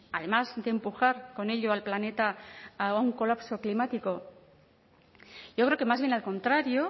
además de empujar con ello al planeta a un colapso climático yo creo que más bien al contrario